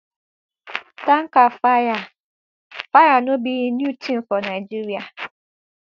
tanker fire fire no be new tin for nigeria